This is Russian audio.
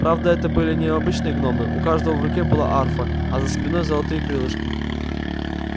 правда это были необычные гномы у каждого в руке была арфа а за спиной золотые крылышки